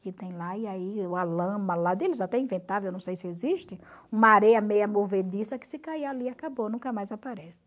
que tem lá, e aí uma lama lá deles até inventava, eu não sei se existe, uma areia meia movediça que se cair ali acabou, nunca mais aparece.